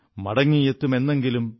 മടങ്ങിയെത്തും എന്നെങ്കിലും